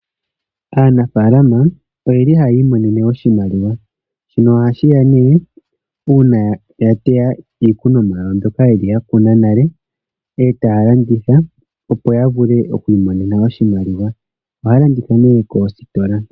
Aanafaalama oye li ha ya imonene oshimaliwa shono ha shi ya uuna ya teya iikunomwa yawo e ta ya landitha opo ya vule oku imonena oshimaliwa. Ohaya landitha nduno koositola.